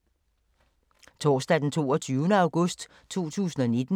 Torsdag d. 22. august 2019